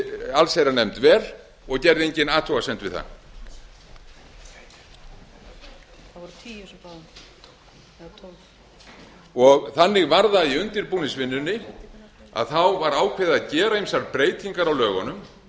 allsherjarnefnd vel og gerði enginn athugasemd við það í undirbúningsvinnunni var ákveðið að gera ýmsar breytingar á lögunum og við skulum